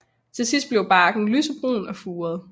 Til sidst bliver barken lysebrun og furet